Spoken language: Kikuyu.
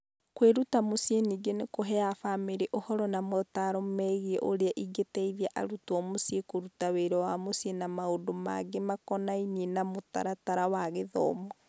Kwĩruta mũciĩ ningĩ nĩ kũheaga famĩrĩ ũhoro na motaaro megiĩ ũrĩa ingĩteithia arutwo mũciĩ kũruta wĩra wa mũciĩ na maũndũ mangĩ makonainie na mũtaratara wa gĩthomo.